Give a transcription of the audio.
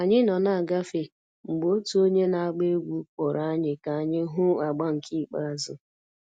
Anyị nọ na-agafe, mgbe otu onye na-agba egwú kpọrọ anyị ka anyị hụ agba nke ikpeazụ